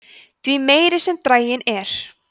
því meiri sem draginn er